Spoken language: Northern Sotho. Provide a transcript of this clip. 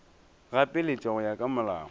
gapeletša go ya ka molao